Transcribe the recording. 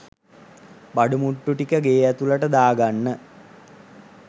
බඩු මුට්ටු ටික ගේ ඇතුලට දා ගන්න.